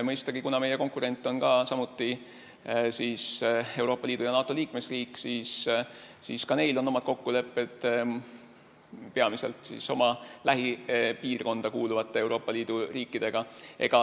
Mõistagi, kuna meie konkurent on samuti Euroopa Liidu ja NATO liikmesriik, on neil omad kokkulepped peamiselt oma lähipiirkonda kuuluvate Euroopa Liidu riikidega.